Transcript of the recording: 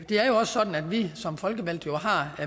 er jo også sådan at vi som folkevalgte har